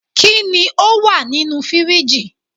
Kini o wa ninu firiji?